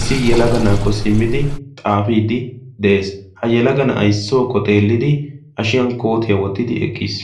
issi yalaga naakko simmidi xaafiiddi de7ees ha yalaga na7aissookko xeellidi ashiyan kootiyaa wottidi eqqiis